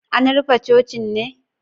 An rufe cocin ne?